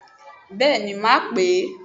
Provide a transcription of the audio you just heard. Béèni màá pè é